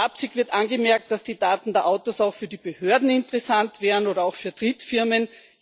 Flapsig wird angemerkt, dass die Daten der Autos auch für die Behörden interessant wären oder auch für Drittfirmen.